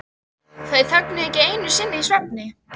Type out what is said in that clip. Þær þögnuðu ekki einu sinni í svefni.